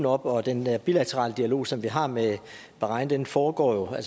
op og den bilaterale dialog som vi har med bahrain foregår jo